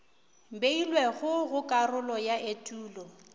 beilwego go karolo ya etulo